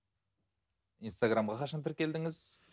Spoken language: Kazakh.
инстаграмға қашан тіркелдіңіз